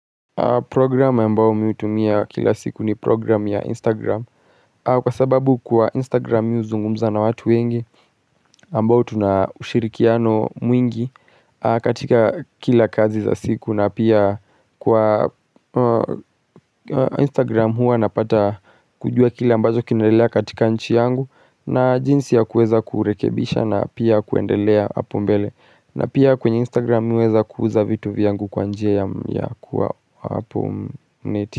Program ambayo mimi utumia kila siku ni program ya Instagram Kwa sababu kwa Instagram uzungumza na watu wengi. Ambao tuna ushirikiano mwingi katika kila kazi za siku na pia kwa Instagram hua napata kujua kila ambacho kinaendelea katika nchi yangu na jinsi ya kuweza kurekebisha na pia kuendelea apo mbele na pia kwenye Instagram uweza kuuza vitu vyangu kwa njia ya kuwa hapo neti.